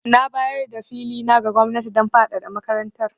Na bayar da fili na ga gwamnati don fadada makarantar.